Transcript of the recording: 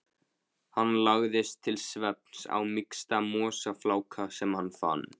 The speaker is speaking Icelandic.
Hann lagðist til svefns á mýksta mosafláka sem hann fann.